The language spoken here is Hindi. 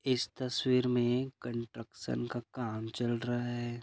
इस तस्वीर मे कंट्रक्शन का काम चल रहा है।